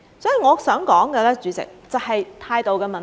主席，我想說的就是態度的問題。